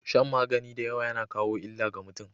Shan magani dayawa yAna kawo illa ga mutun